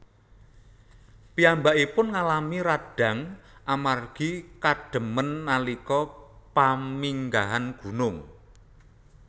Piyambakipun ngalami radang amargi kademen nalika paminggahan gunung